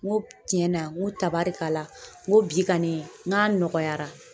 N ko tiɲɛna n ko tabarikala n ko bi kani n k'a nɔgɔyara.